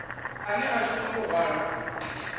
ane a shuma u hwala